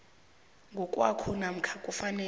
ngokwakho namkha kufanele